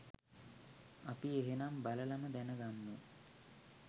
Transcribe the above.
අපි එහෙනම් බලලම දැන ගම්මු